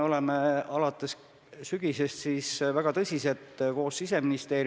Ma peaksin saama homseks selle info.